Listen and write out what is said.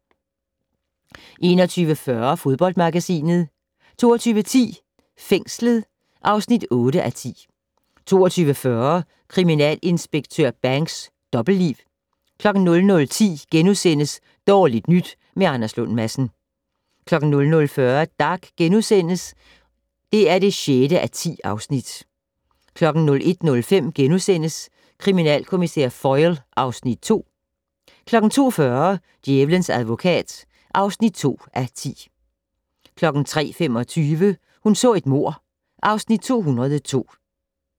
21:40: Fodboldmagasinet 22:10: Fængslet (8:10) 22:40: Kriminalinspektør Banks: Dobbeltliv 00:10: Dårligt nyt med Anders Lund Madsen * 00:40: Dag (6:10)* 01:05: Kriminalkommissær Foyle (Afs. 2)* 02:40: Djævelens advokat (7:10) 03:25: Hun så et mord (Afs. 202)